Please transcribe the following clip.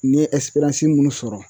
N ye munnu sɔrɔ